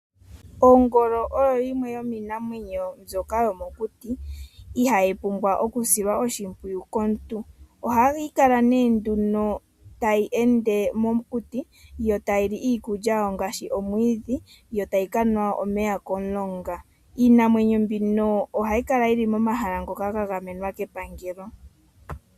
Ongolo oyo yimwe yomiinamwenyo mbyoka yomokuti ihayi pumbwa okusilwa oshimpwiyu komuntu. Ohayi kala nee nduno tayi ende mokuti yo tayi li iikulya yawo ngaashi omwiidhi, yo tayi kanwa omeya komulonga. Iinamwenyo mbino ohayi kala yi li momahala ngoka ga gamenwa kepangelo.